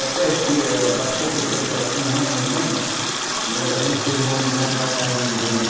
Até esse, éh faz pouco tempo, acho que um ano, mais ou menos, eu, a gente fez uma homenagem para Carmen Miranda.